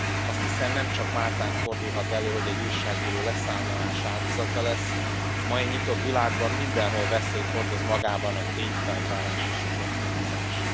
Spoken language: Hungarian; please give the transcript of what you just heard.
Azt hiszem, nemcsak Máltán fordulhat elő, hogy egy újságíró leszámolás áldozata lesz, a mai nyitott világban mindenhol veszélyt hordoz magában a tényfeltárás és az oknyomozás.